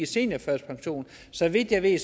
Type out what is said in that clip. seniorførtidspensionen så vidt jeg ved